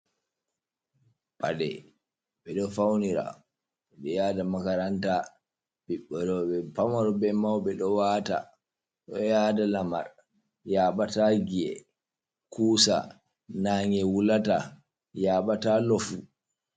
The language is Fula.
Paɗe ɓeɗo faunira, ɓe yada makaranta, ɓiɓɓe roɓɓe pamaro be mauɓe ɗo wata, ɗo yada lamar yaɓa ta giy'e kusa, nage wulata yaɓa ta lofu.